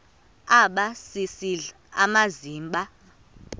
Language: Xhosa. aba sisidl amazimba